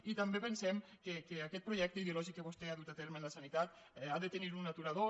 i també pensem que aquest projecte ideològic que vostè ha dut a terme en la sanitat ha de tenir un aturador